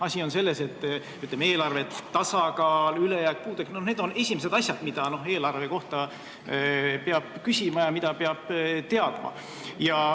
Asi on selles, et eelarve tasakaal, ülejääk ja puudujääk on esimesed asjad, mida peab eelarve kohta küsima ja mida peab teadma.